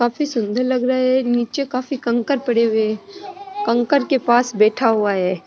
काफी सुन्दर लग रहे है नीचे काफी कंकर पड़े हुए है कंकर के पास बैठा हुआ है।